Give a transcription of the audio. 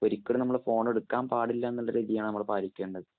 ഒരിക്കലും നമ്മള്‍ ഫോണ്‍ എടുക്കാന്‍ പാടില്ല എന്നുള്ള രീതിയാണോ പാലിക്കേണ്ടത്?